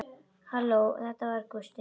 Halló, það var Gústi.